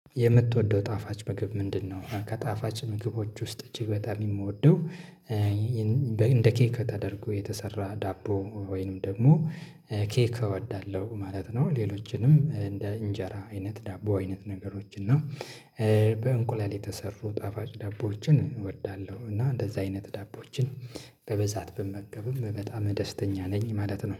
የምትወደው ጣፋጭ ምግብ ምንድነው? ከጣፋጭ ምግቦች ውስጥ እጅግ በጣም የምወደው እንደ ኬክ ተደርጎ የተሰራ ዳቦ ወይንም ደግሞ ኬክ እወዳለሁ ማለት ነው። ሌሎችንም እንደ እንጀራ አይነት ዳቦ አይነት ነገሮች እና በእንቁላል የተሰሩ ጣፋጭ ዳቦዎችን እወዳለሁ፤ እና እንደዛ አይነት ዳቦዎችን በብዛት ብመገብም በጣም ደስተኛ ነኝ ማለት ነው።